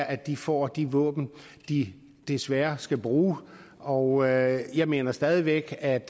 at de får de våben de desværre skal bruge og jeg jeg mener stadig væk at et